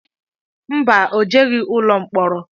Mba, o jeghi ụlọ mkpọrọ.